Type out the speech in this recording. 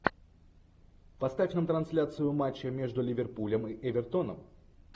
поставь нам трансляцию матча между ливерпулем и эвертоном